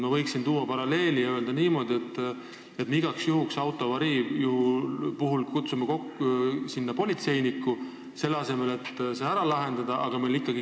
Ma võin tuua paralleeli, et me igaks juhuks autoavarii puhul kutsume kohale politseiniku, selle asemel et olukord omavahel ära lahendada.